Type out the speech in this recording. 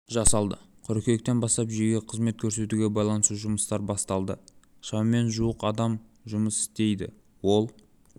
жасалды қыркүйектен бастап жүйеге қызмет көрсетуге байланысты жұмыстар басталды шамамен жуық адам жұмыс істейді ол